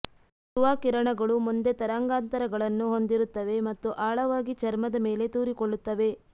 ಯುವಾ ಕಿರಣಗಳು ಮುಂದೆ ತರಂಗಾಂತರಗಳನ್ನು ಹೊಂದಿರುತ್ತವೆ ಮತ್ತು ಆಳವಾಗಿ ಚರ್ಮದ ಮೇಲೆ ತೂರಿಕೊಳ್ಳುತ್ತವೆ